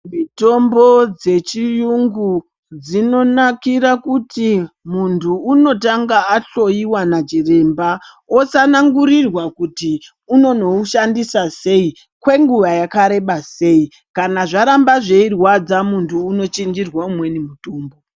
Mitombo dzechiyungu dzinonakira kuti muntu unotanga ahloiwa nachiremba osanangirirwa kuti unonoushandisa sei kwenguva yakareba sei. Kana zvaramba zveirwadza muntu unochinjirwa umweni mutombo.